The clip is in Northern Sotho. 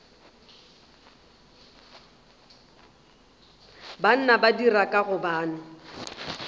banna ba dira ka gobane